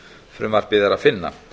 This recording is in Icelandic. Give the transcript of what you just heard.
frumvarpið er að finna